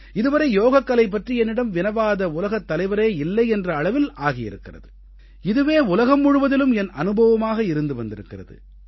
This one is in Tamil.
இதுவரை யோகக்கலை பற்றி என்னிடம் வினவாத உலகத் தலைவரே இல்லை என்ற அளவில் ஆகியிருக்கிறது இதுவே உலகம் முழுவதிலும் என் அனுபவமாக இருந்து வந்திருக்கிறது